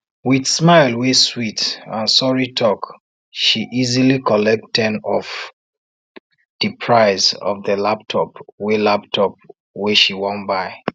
with smile wey sweet and sorry talk she easily collect ten off di price of di laptop wey laptop wey she wan buy